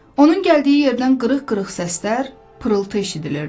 Onun gəldiyi yerdən qırıq-qırıq səslər, pırıltı eşidilirdi.